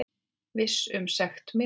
Viss um sekt mína.